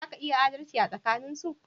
Za ka iya adalci tsakanin su